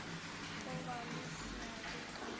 go ba le seabe ka